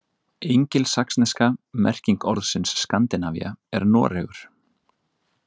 Engilsaxneska merking orðsins Skandinavía er Noregur.